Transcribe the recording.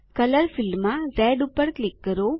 colour ફીલ્ડમાં red પર click કરો